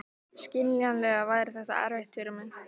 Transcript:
Skiljanlega væri þetta erfitt fyrir mig.